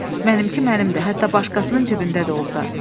Mənimki mənimdir, hətta başqasının cibində də olsa.